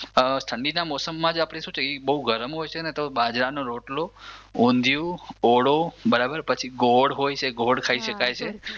ઠંડીના મોસમમાં જ આપણે શું છે એ બઉ ગરમ હોય છે તો બાજરાનો રોટલો, ઊંધિયું, ઓળો, બરાબર પછી ગોળ હોય છે ગોળ ખાઈ શકાય છે.